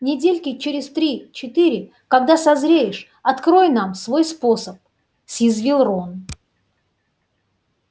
недельки через три четыре когда созреешь открой нам свой способ съязвил рон